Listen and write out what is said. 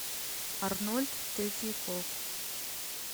арнольд третьяков